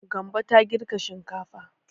Gambo ta girka shinkafa.